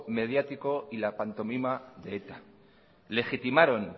mediático y la pantomima de eta legitimaron